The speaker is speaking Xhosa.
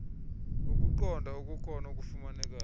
kukuqonda okukhona okufumanekayo